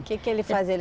O que que ele fazia? Ele